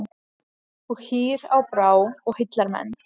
Og hýr á brá og heillar menn.